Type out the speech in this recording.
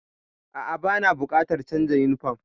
A'a, bana buƙatar canza yunifom.